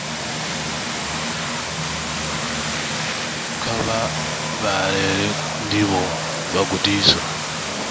kha vha vhalele ndivho vhagudiswa